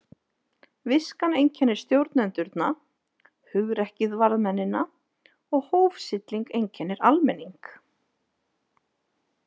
Viskan einkennir stjórnendurna, hugrekkið varðmennina og hófsilling einkennir almenning.